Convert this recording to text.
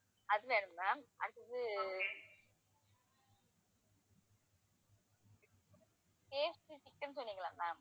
அது வேணும் ma'am அடுத்து KFC chicken சொன்னிங்கல்ல ma'am